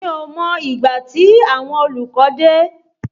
Mi ò mọ ìgbà tí àwọn olùkọ́ dé